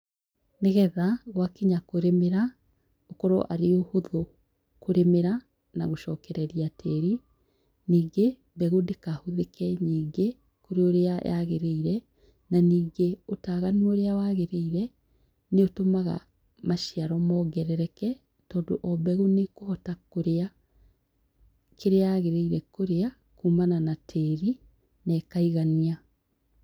Nĩgetha, gwa kinya kũrĩmĩra, gũkorwo arĩ ũhũthũ kũrĩmĩra, na gũcokereria tĩĩri. Ningĩ, mbegũ ndĩkahũthĩke nyingĩ, kũrĩ ũrĩa yaagĩrĩire. Na ningĩ, ũtaaganu ũrĩa waagĩrĩire, nĩ ũtũmaga maciaro moongereke, tondũ o mbegu nĩ ĩkũhota kũrĩa, kĩrĩa yaagĩrĩire kũrĩa kuumana na tĩĩri, na ĩkaigania.